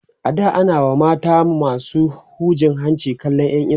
a da a na WA mata masu hujin hanci kallan Yan iska